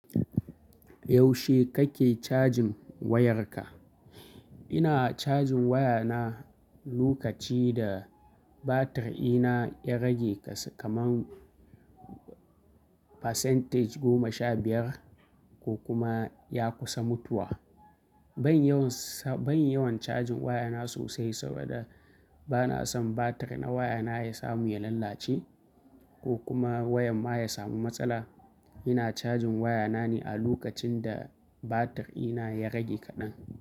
Yaushe kake cajin wayarka? Ina cajin wayana lokaci da batir ina ya rage kasan kaman percentage goma sha biyar ko kuma ya kusa mutuwa. Ban yawan, ban yawan cajin wayana sosai saboda bana son batir na wayana ya samu ya lallace ko kuma wayar ma ya samu matsala. Ina cajin wayana ne a lokacin da batir ɗina ya rage kaɗan.